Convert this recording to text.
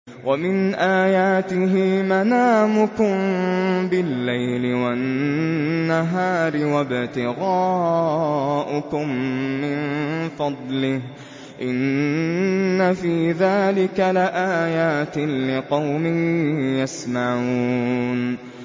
وَمِنْ آيَاتِهِ مَنَامُكُم بِاللَّيْلِ وَالنَّهَارِ وَابْتِغَاؤُكُم مِّن فَضْلِهِ ۚ إِنَّ فِي ذَٰلِكَ لَآيَاتٍ لِّقَوْمٍ يَسْمَعُونَ